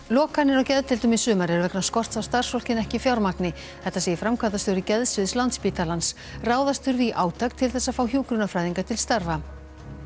lokanir á geðdeildum í sumar eru vegna skorts á starfsfólki en ekki fjármagni þetta segir framkvæmdastjóri geðsviðs Landspítalans ráðast þurfi í átak til þess að fá hjúkrunarfræðinga til starfa